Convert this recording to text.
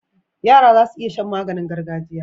Yara zasu iya Shan maganin gargajiya